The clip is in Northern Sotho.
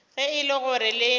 ge e le gore le